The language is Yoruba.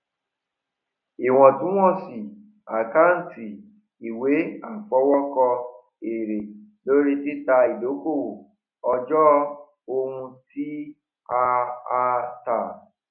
ìwọtúnwọsì àkántì ìwé àfọwókọ èrè lórí títa idokowó ọjọ ohun ti a a ta